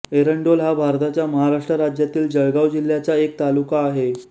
एरंडोल हा भारताच्या महाराष्ट्र राज्यातील जळगाव जिल्ह्याचा एक तालुका आहे